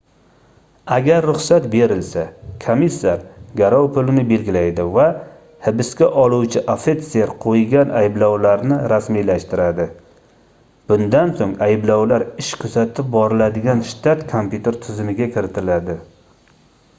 agar ruxsat berilsa komissar garov pulini belgilaydi va hibsga oluvchi ofitser qoʻygan ayblovlarni rasmiylashtiradi bundan soʻng ayblovlar ish kuzatib boriladigan shtat kompyuter tizimiga kiritiladi